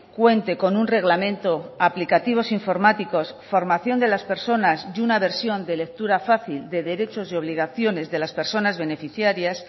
cuente con un reglamento aplicativos informáticos formación de las personas y una versión de lectura fácil de derechos y obligaciones de las personas beneficiarias